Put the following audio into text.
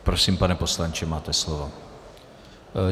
Prosím, pane poslanče, máte slovo.